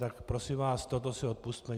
Tak prosím vás, toto si odpusťte!